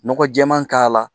Nɔgɔ jɛɛman k'a la